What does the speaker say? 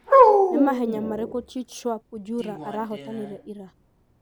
ni mahenya mariku cheteshwar pujura arahotanire ira